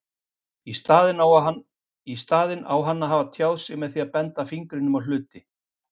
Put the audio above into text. Í staðinn á hann að hafa tjáð sig með því að benda fingrinum á hluti.